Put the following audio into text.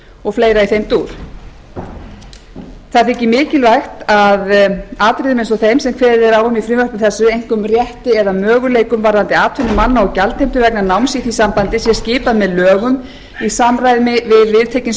og fleira mikilvægt þykir að atriðum eins og þeim sem kveðið er á um í frumvarpinu einkum rétti eða möguleikum varðandi atvinnu manna og gjaldheimtu vegna náms í því sambandi sé skipað með lögum í samræmi við viðtekin